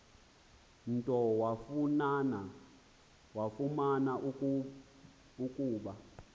nto wafumana ukuba